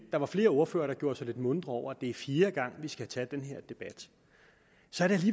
der var flere ordførere der gjorde sig lidt muntre over at det er fjerde gang vi skal tage den her debat